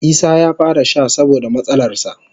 Isah ya fara sha saboda matsalarsa.